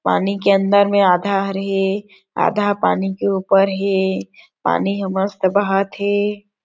पानी के अंदर में आधा हर हे आधा पानी के ऊपर हे पानी हे पानी ह मस्त बहत हे।